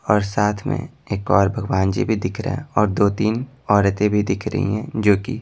और साथ में एक और भगवान जी भी दिख रहा है और दो-तीन औरतें भी दिख रही हैं जो कि --